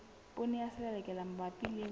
poone ya selelekela mabapi le